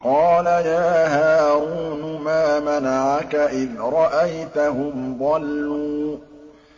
قَالَ يَا هَارُونُ مَا مَنَعَكَ إِذْ رَأَيْتَهُمْ ضَلُّوا